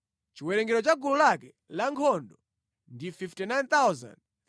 Chiwerengero cha gulu lake lankhondo ndi 59,300.